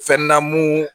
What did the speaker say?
Fɛn na mun